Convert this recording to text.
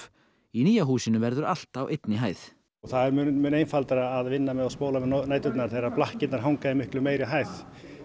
í nýja húsinu verður allt á einni hæð það er mun einfaldara að vinna með og spóla með næturnar þegar hanga í miklu meiri hæð